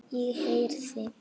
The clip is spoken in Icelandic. Ég heyrði.